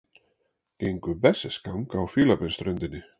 Gengu berserksgang á Fílabeinsströndinni